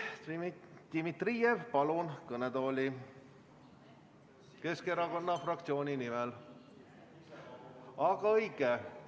Dmitri Dmitrijev, palun kõnetooli Keskerakonna fraktsiooni nimel kõnelema!